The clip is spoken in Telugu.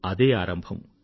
అదే ఆరంభం